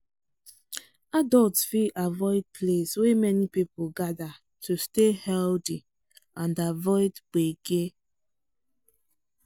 adults fit avoid place wey many people gather to stay healthy and avoid gbege.